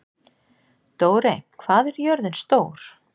Dórey, hvað er jörðin stór?